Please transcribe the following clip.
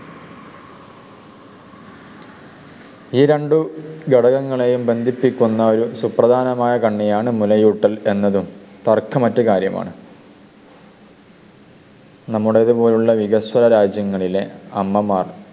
ഈ രണ്ടു ഘടകങ്ങളെയും ബന്ധിപ്പിക്കുന്ന ഒരു സുപ്രധാനമായ കണ്ണിയാണ് മുലയൂട്ടൽ എന്നതും തർക്കമറ്റകാര്യമാണ്. നമ്മുടേതുപോലുള്ള വികസന രാജ്യങ്ങളിലെ അമ്മമാർ